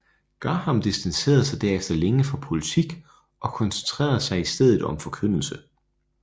Graham distancerede sig derefter længe fra politik og koncentrerede sig i stedet om forkyndelse